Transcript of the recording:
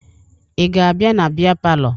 Ị ga-abịa na bịa palọ?